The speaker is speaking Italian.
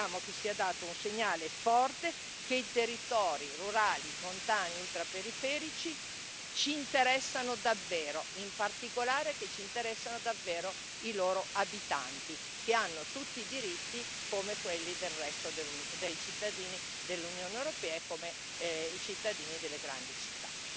Vogliamo che sia dato un segnale forte che i territori rurali, montani e ultraperiferici ci interessano davvero, in particolare che ci interessano davvero i loro abitanti, che hanno tutti i diritti, come quelli del resto dei cittadini dell'Unione europea e come i cittadini delle grandi città.